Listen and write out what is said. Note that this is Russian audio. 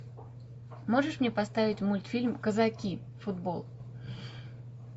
можешь мне поставить мультфильм казаки футбол